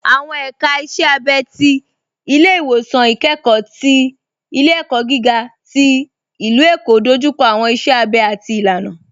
Awọn èka ìṣẹ̀ àbẹ̀ ti Ilẹ̀-iwọsan Ikẹkọ̀ ti Ilẹ̀-ẹ̀kọ́ gíga ti Ilú-Ẹ̀kọ́ dójúkọ̀ awọn ìṣẹ̀ àbẹ̀ àti ìlànà.